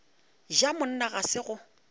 ja monna ga se go